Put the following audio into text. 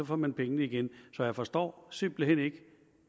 får man pengene igen så jeg forstår simpelt hen ikke